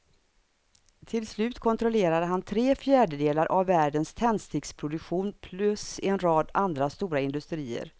Till slut kontrollerade han tre fjärdedelar av världens tändsticksproduktion plus en rad andra stora industrier.